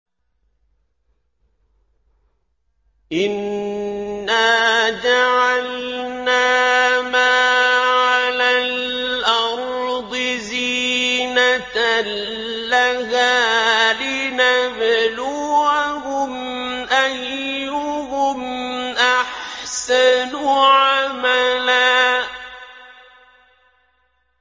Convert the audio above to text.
إِنَّا جَعَلْنَا مَا عَلَى الْأَرْضِ زِينَةً لَّهَا لِنَبْلُوَهُمْ أَيُّهُمْ أَحْسَنُ عَمَلًا